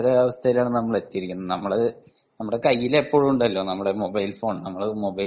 അങ്ങനത്തെ ഒരവസ്ഥയിൽ ആണ് നമ്മൾ എത്തിയിരിക്കുന്നത് നമ്മൾ നമ്മളെ കയ്യിൽ എപ്പോഴും ഉണ്ടല്ലോ മൊബൈൽ ഫോൺ.